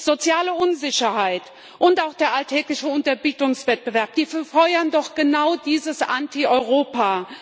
Soziale Unsicherheit und auch der alltägliche Unterbietungswettbewerb befeuern doch genau dieses Antieuropa.